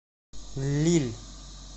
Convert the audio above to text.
лилль